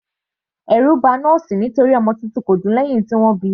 Ẹ̀rù ba nọ́ọ̀sì nítorí ọmọ titun kò dún lẹ́hìn tí wọ́n bíi.